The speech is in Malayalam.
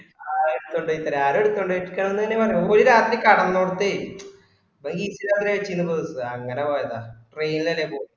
ആഹ് ആരും എടുത്തണ്ടയിട്ടില്ലന്ന് തന്നെ പറഞ്ഞേ ഓര് രാത്രി കടന്നോടത്തെ ഓര് അങ്ങനെപോയതാ train അല്ലേ പോയേ